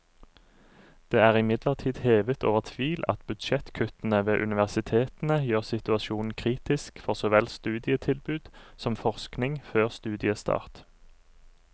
Det er imidlertid hevet over tvil at budsjettkuttene ved universitetene gjør situasjonen kritisk for så vel studietilbud som forskning før studiestart.